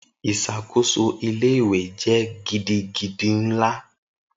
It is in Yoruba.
Isakoso ile-iwe jẹ gidigidi nla.